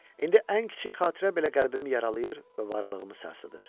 İndi ən kiçik xatirə belə qəlbimi yaralayır və varlığımı sarsıdır.